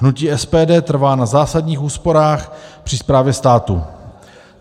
Hnutí SPD trvá na zásadních úsporách při správě státu.